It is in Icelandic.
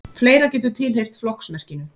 fleira getur tilheyrt flokksmerkinu